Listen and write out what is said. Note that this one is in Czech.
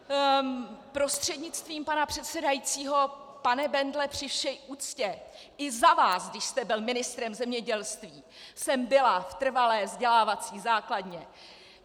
Prostřednictvím pana předsedajícího pane Bendle, při vší úctě i za vás, když jste byl ministrem zemědělství, jsem byla v trvalé vzdělávací základně!